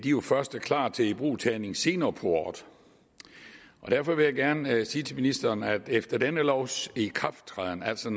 jo først er klar til ibrugtagning senere på året derfor vil jeg gerne sige til ministeren man efter denne lovs ikrafttræden altså